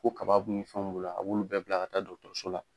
Ko kaba b ni fɛnw b'u la, a b'olu bɛɛ bila ka taa so la